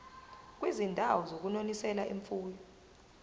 kwizindawo zokunonisela imfuyo